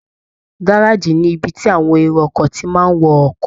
Gárèjì ni ibi tí àwọn èrò ọkọ̀ ti máa ń wọ ọkọ̀